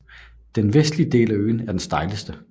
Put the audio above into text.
Den vestlige del af øen er den stejleste